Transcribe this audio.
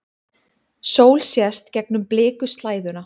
Sól sést gegnum blikuslæðuna.